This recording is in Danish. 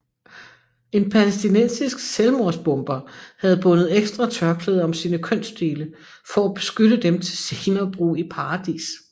En palæstinensisk selvmordsbomber havde bundet ekstra tørklæder om sine kønsdele for at beskytte dem til senere brug i paradis